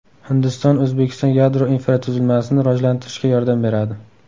Hindiston O‘zbekiston yadro infratuzilmasini rivojlantirishga yordam beradi.